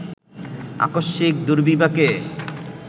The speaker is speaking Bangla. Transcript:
আকস্মিক দুর্বিপাকে